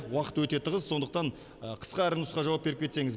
уақыт өте тығыз сондықтан қысқа әрі нұсқа жауап беріп кетсеңіз